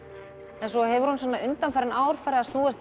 en svo hefur hún undanfarin ár farið að snúast